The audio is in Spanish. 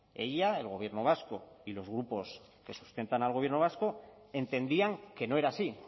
ella el gobierno vasco y los grupos que sustentan al gobierno vasco entendían que no era así